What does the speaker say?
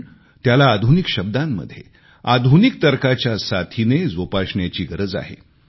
पण त्याला आधुनिक शब्दांमध्ये आधुनिक तर्कांच्या साथीने जोपासण्याची गरज आहे